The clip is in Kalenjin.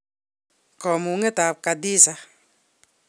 Kamang'unetab Khadiza